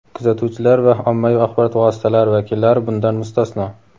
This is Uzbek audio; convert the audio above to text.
kuzatuvchilar va ommaviy axborot vositalari vakillari bundan mustasno.